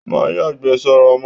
Má yàgbẹ́ sára mọ́!